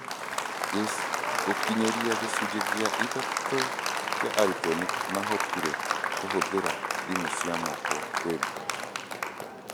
Gũkinyĩria gĩcunjĩ gĩa ithatũ kĩa arutwo nĩ maahotire kũhũthĩra thimũ cia moko kwĩruta.